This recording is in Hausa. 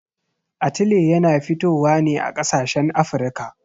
Atile yana fitowa ne a ƙasashen Afirka.